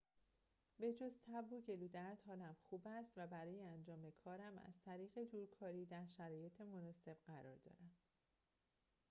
به‌جز تب و گلودرد حالم خوب است و برای انجام کارم از طریق دورکاری در شرایط مناسب قرار دارم